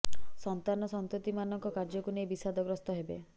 ସନ୍ତାନ ସନ୍ତତି ମାନଙ୍କ କାର୍ଯ୍ୟକୁ ନେଇ ବିଶାଦ ଗ୍ରସ୍ତ ହେବେ